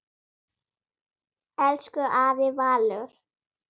Elsku afi Valur.